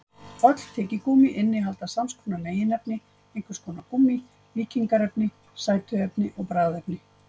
Öll tyggigúmmí innihalda sams konar meginefni: einhvers konar gúmmí, mýkingarefni, sætuefni og bragðefni.